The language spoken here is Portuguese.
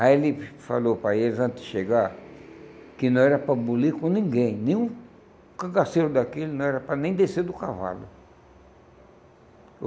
Aí ele falou para eles, antes de chegar, que não era para bulir com ninguém, nenhum cangaceiro daquele não era para nem descer do cavalo.